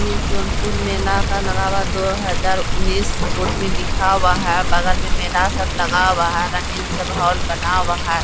ये सोनपुर मेला का लगा हुआ है। दो हजार उन्नीस बोर्ड में लिखा हुआ है। बगल में मेला सब लगा हुआ है। रंगीन सब हॉल लगा हुआ है।